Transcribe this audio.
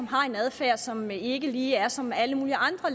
har en adfærd som ikke lige er som alle mulige andre